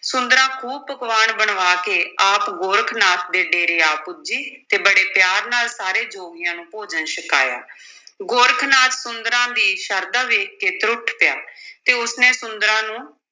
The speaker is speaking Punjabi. ਸੁੰਦਰਾਂ ਖ਼ੂਬ ਪਕਵਾਨ ਬਣਵਾ ਕੇ ਆਪ ਗੋਰਖ ਨਾਥ ਦੇ ਡੇਰੇ ਆ ਪੁੱਜੀ ਤੇ ਬੜੇ ਪਿਆਰ ਨਾਲ ਸਾਰੇ ਜੋਗੀਆਂ ਨੂੰ ਭੋਜਨ ਛਕਾਇਆ ਗੋਰਖ ਨਾਥ ਸੁੰਦਰਾਂ ਦੀ ਸ਼ਰਧਾ ਵੇਖ ਕੇ ਤਰੁੱਠ ਪਿਆ ਤੇ ਉਸ ਨੇ ਸੁੰਦਰਾਂ ਨੂੰ